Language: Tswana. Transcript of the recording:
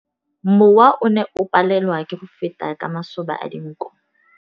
Mowa o ne o palelwa ke go feta ka masoba a dinko.